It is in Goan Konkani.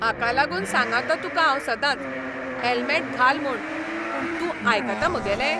हाका लागून सांगताों तुका हांव सदांच, हॅल्मेट घाल म्हूण. पूण तूं आयकता म्हगेलें?